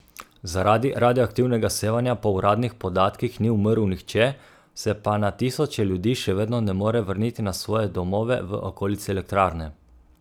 Zaradi radioaktivnega sevanja po uradnih podatkih ni umrl nihče, se pa na tisoče ljudi še vedno ne more vrniti na svoje domove v okolici elektrarne.